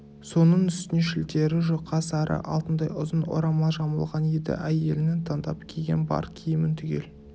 соның үстіне шілтері жұқа сары алтындай ұзын орамал жамылған еді әйелінің таңдап киген бар киімін түгел